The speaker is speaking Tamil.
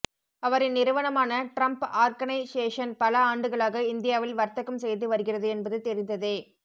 அவரின் நிறுவனமான டிரம்ப் ஆர்கனைஷேசன் பல ஆண்டுகளாக இந்தியாவில் வர்த்தகம் செய்து வருகிறது என்பது தெரிந்ததே